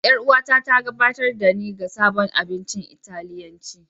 Yar'uwata ta gabatar da ni ga sabon abincin Italiyanci.